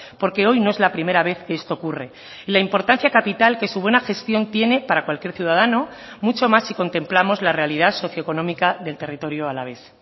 porque hoy no es la primera vez que esto ocurre la importancia capital que su buena gestión tiene para cualquier ciudadano mucho más si contemplamos la realidad socioeconómica del territorio alavés